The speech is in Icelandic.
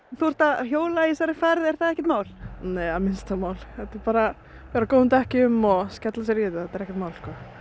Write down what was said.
þú ert að hjóla í þessari færð er það ekkert mál mál nei bara vera á góðum dekkjum og skella sér í þetta það er ekkert mál